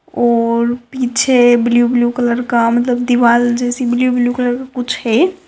और पिच्छे blue blue colour का मतलब दीवाल जैसी ब्लू ब्लू कलर कुच्छ है।